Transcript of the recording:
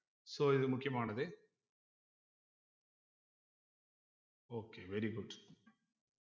so இது முக்கியமானது okay very good